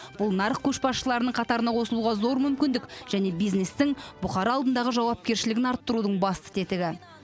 бұл нарық көшбасшыларының қатарына қосылуға зор мүмкіндік және бизнестің бұқара алдындағы жауапкершілігін арттырудың басты тетігі